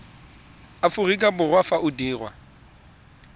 aforika borwa fa o dirwa